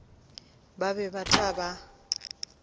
ba ba ba tla ba